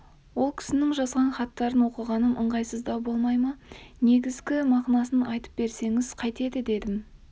ол кісінің жазған хаттарын оқығаным ыңғайсыздау болмай ма негізгі мағынасын айтып берсеңіз қайтеді дедім